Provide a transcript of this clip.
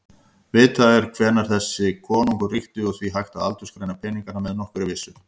Vitað er hvenær þessir konungar ríktu og því hægt að aldursgreina peningana með nokkurri vissu.